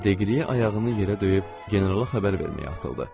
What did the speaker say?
Deqriye ayağını yerə döyüb generala xəbər verməyə atıldı.